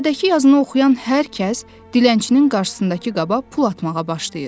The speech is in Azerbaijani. Lövhədəki yazını oxuyan hər kəs dilənçinin qarşısındakı qaba pul atmağa başlayır.